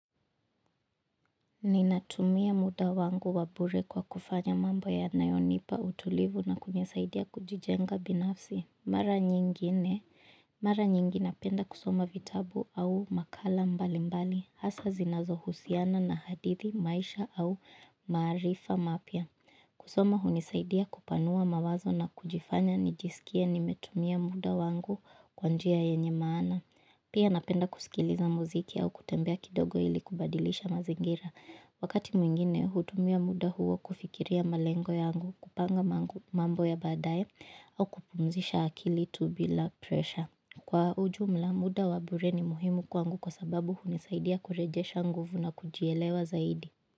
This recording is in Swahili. Ninatumia muda wangu wa bure kwa kufanya mambo yanayonipa utulivu na kunisaidia kujijenga binafsi. Mara nyingine. Mara nyingi napenda kusoma vitabu au makala mbali mbali. Hasa zinazo husiana na hadithi, maisha au maarifa mapya. Kusoma hunisaidia kupanua mawazo na kujifanya nijisikie nimetumia muda wangu kwa njia yenye maana. Pia napenda kusikiliza muziki au kutembea kidogo ili kubadilisha mazingira. Wakati mwingine, hutumia muda huo kufikiria malengo yangu kupanga mambo ya badaye au kupumzisha akili tu bila presha. Kwa ujumla, muda wabure ni muhimu kwangu kwa sababu hunisaidia kurejesha nguvu na kujielewa zaidi.